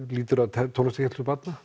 lýtur að tónlistarkennslu barna